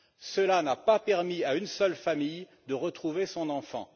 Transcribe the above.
Cela n'a pas permis à une seule famille de retrouver son enfant.